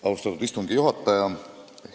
Austatud istungi juhataja!